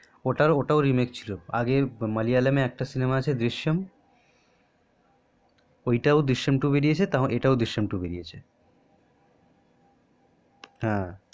ওটা ওটাও remake ছিল মালায়ালাম এ একটা সিনেমা আছে দৃশ্যাম ওইটাও দৃশ্যাম টু বেরিয়েছে তেমন এটাও দৃশ্যামটা বেরিয়েছে হ্যা